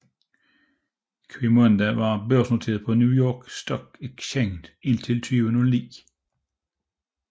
Qimonda var børsnoteret på New York Stock Exchange indtil 2009